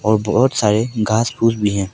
और बहुत सारे घास फूस भी हैं।